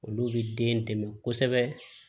Olu bɛ den dɛmɛ kosɛbɛ